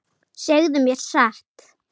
Segðu mér satt.